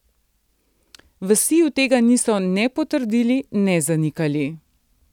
V Siju tega niso ne potrdili ne zanikali.